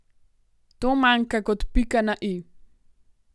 To manjka kot pika na i.